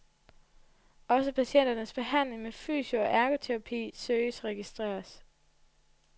Også patienternes behandling med fysio og ergoterapi søges registreret.